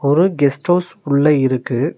ஒரு guest house உள்ள இருக்கு.